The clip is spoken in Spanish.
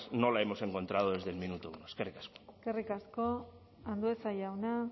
no la hemos encontrado desde el minuto uno eskerrik asko eskerrik asko andueza jauna